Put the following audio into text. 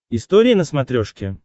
история на смотрешке